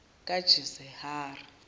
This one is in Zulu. kajisihari